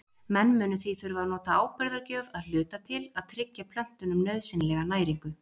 Menn munu því þurfa að nota áburðargjöf að hluta til að tryggja plöntunum nauðsynlega næringu.